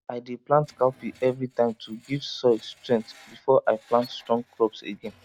i dey plant cowpea every time to give soil strength before i plant strong crops again